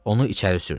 Onu içəri sürdü.